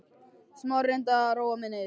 Smári reyndi að róa hana niður.